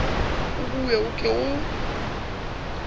o bue o ke o